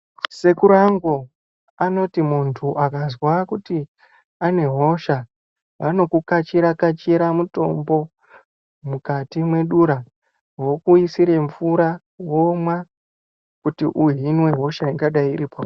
Sekuru angu anoti muntu akazwa kuti ane hosha vanokukachira-kachira mutombo mukati mwedura vokuisira mvura womwa kuti uhinwe hosha ingadai iripauri.